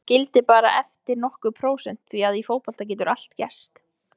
Hann skildi bara eftir nokkur prósent því að í fótbolta getur allt gerst.